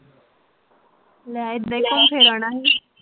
ਲੈ